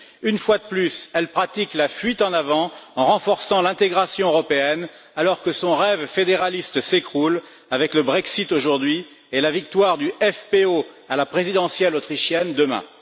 Une fois de plus, elle pratique la fuite en avant en renforçant l'intégration européenne, alors que son rêve fédéraliste s'écroule avec le Brexit, aujourd'hui, et la victoire du FPÖ à la présidentielle autrichienne, demain.